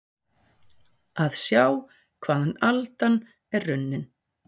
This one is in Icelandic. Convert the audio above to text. Að sjá hvaðan aldan er runnin